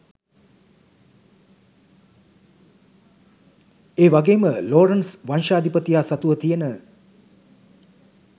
ඒවගේම ලෝරන්ට්ස් වංශාධිපතියා සතුව තියෙන